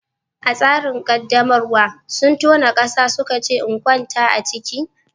A tsarin qaddamarwa, sun tona ƙasa suka ce in kwanta a ciki.